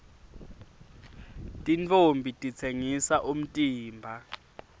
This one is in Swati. tintfombi titsengisa umtimba